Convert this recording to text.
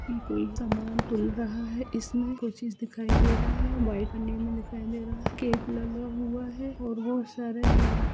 कोई सामान तोल रहा है इस में कोई चीज़ दिखाई दे रहा है व्हाइट पन्नी में दिखाई दे रहा है केक लगा हुए है और बहुत सारा है।